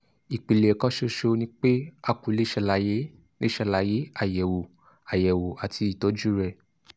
ìpìlẹ̀ kan ṣoṣo ni pé a kò lè ṣàlàyé lè ṣàlàyé àyẹ̀wò àyẹ̀wò àti ìtọ́jú rẹ̀